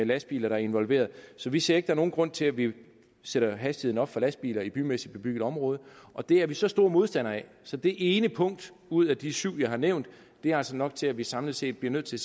lastbiler involveret så vi ser ikke er nogen grund til at vi sætter hastigheden op for lastbiler i bymæssig bebygget område og det er vi så store modstandere af så det ene punkt ud af de syv jeg har nævnt er altså nok til at vi samlet set bliver nødt til